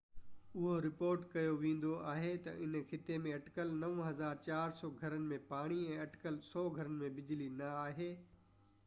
اهو رپورٽ ڪيو ويندو آهي تہ هن خطي ۾ اٽڪل 9400 گهرن ۾ پاڻي ۽ اٽڪل 100 گهرن ۾ بجلي نہ آهي